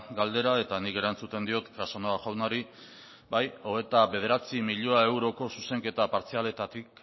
galdera eta nik erantzuten diot casanova jaunari bai hogeita bederatzi milioi euroko zuzenketa partzialetatik